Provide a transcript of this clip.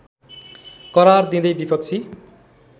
करार दिँदै विपक्षी